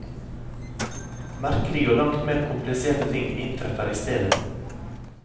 Merkelige og langt mer kompliserte ting inntreffer istedet.